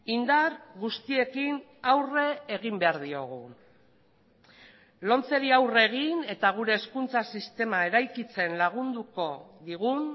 indar guztiekin aurre egin behar diogu lomceri aurre egin eta gure hezkuntza sistema eraikitzen lagunduko digun